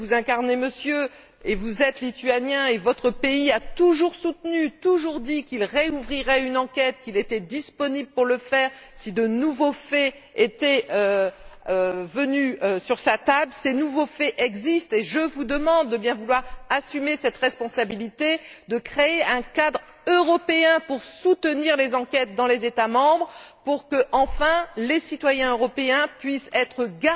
Vous êtes Lituanien, et votre pays a toujours soutenu, toujours dit, qu'il rouvrirait une enquête, qu'il était disponible pour le faire, si de nouveaux faits lui étaient présentés. Ces nouveaux faits existent, et je vous demande de bien vouloir assumer cette responsabilité de créer un cadre européen pour soutenir les enquêtes dans les États membres, pour que, enfin, les citoyens européens puissent être assurés